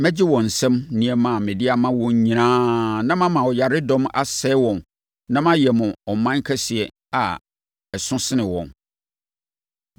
Mɛgye wɔn nsam nneɛma a mede ama wɔn nyinaa na mama ɔyaredɔm asɛe wɔn na mayɛ mo ɔman kɛseɛ a ɛso sene wɔn!”